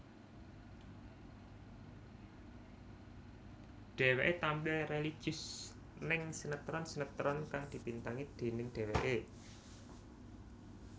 Dheweké tampil religius ning sinetron sinetron kang dibintangi déning dheweké